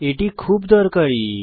এটি খুব দরকারী